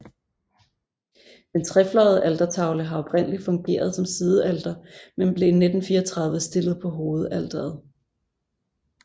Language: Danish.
Den trefløjede altertavle har oprindelig fungeret som sidealter men blev i 1934 stillet på hovedalteret